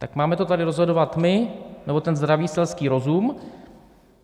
Tak máme to tady rozhodovat my, nebo ten zdravý selský rozum?